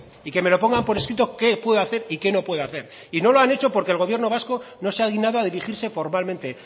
y que me lo pongan por escrito qué puedo hacer y qué no puedo hacer no lo han hecho porque el gobierno vasco no se ha dignado a dirigirse formalmente